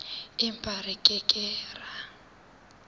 empa re ke ke ra